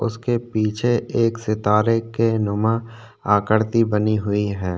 उसके पीछे एक सितारे के नुमा एक आकृति बनी हुई है।